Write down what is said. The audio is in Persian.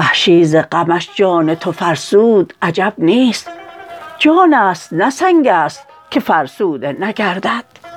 وحشی ز غمش جان تو فرسود عجب نیست جانست نه سنگست که فرسوده نگردد